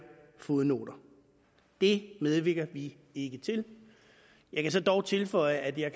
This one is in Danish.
fodnoter det medvirker vi ikke til jeg kan dog tilføje at jeg